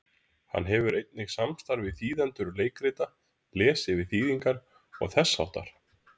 Hann hefur einnig samstarf við þýðendur leikrita, les yfir þýðingar og þess háttar.